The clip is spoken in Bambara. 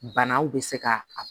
Banaw bɛ se ka a